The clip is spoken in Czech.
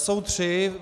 Jsou tři.